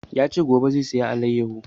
Ya ce gobe zai saya alayyafo